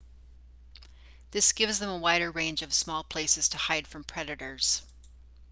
this gives them a wider range of small places to hide from predators